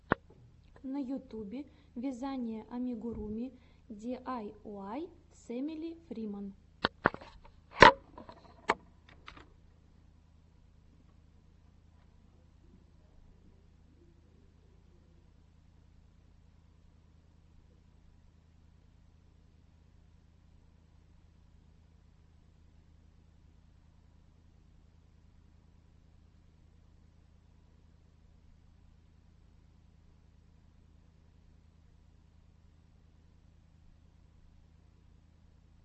на ютюбе вязание амигуруми диайуай с эмили фриман